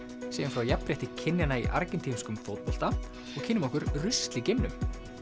segjum frá jafnrétti kynjanna í fótbolta og kynnum okkur rusl í geimnum